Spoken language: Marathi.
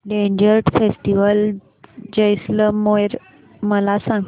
डेजर्ट फेस्टिवल जैसलमेर मला सांग